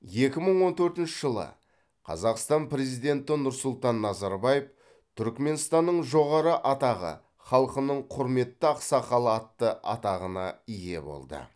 екі мың он төртінші жылы қазақстан президенті нұрсұлтан назарбаев түрікменстанның жоғары атағы халқының құрметті ақсақалы атты атағына ие болды